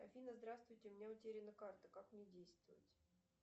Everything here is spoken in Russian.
афина здравствуйте у меня утеряна карта как мне действовать